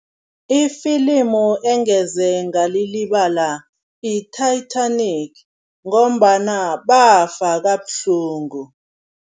Ifilimu engeze ngalilibala yi-Titanic ngombana bafa kabuhlungu.